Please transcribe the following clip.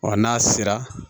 Ɔ n'a sera